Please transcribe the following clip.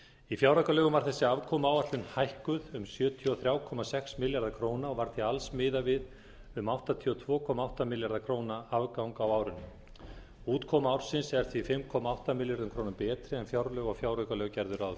í fjáraukalögum var þessi afkomuáætlun hækkuð um sjötíu og þrjú komma sex milljarða króna og var því alls miðað við um áttatíu og tvö komma átta milljarða króna afgang á árinu útkoma ársins er því fimm komma átta milljörðum króna betri en fjárlög og fjáraukalög gerðu ráð